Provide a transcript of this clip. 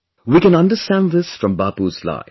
We can understand this from Bapu's life